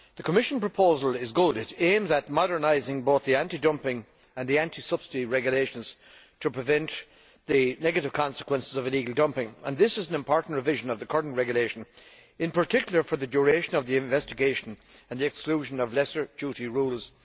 The Commission's proposal is good it aims at modernising both the anti dumping and the anti subsidy regulations to prevent the negative consequences of illegal dumping, and is an important revision of the current regulation, in particular as regards the duration of the investigation and the exclusion of lesser duty rules.